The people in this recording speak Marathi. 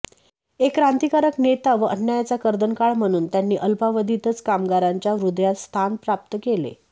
एक क्रांतिकारक नेता व अन्यायाचा कर्दनकाळ म्हणून त्यांनी अल्पावधीतच कामगारांच्या हृदयात स्थान प्राप्त केले